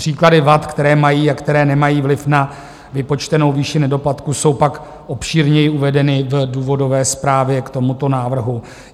Příklady vad, které mají a které nemají vliv na vypočtenou výši nedoplatku, jsou pak obšírněji uvedeny v důvodové zprávě k tomuto návrhu.